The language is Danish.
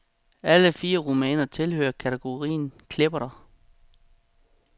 Alle fire romaner tilhører kategorien klepperter.